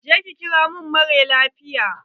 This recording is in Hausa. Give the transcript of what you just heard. Je ki kira mara lafiyar!